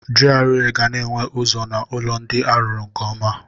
GRA ga-na enwe ụzọ na ụlọ ndị arụrụ nke ọma.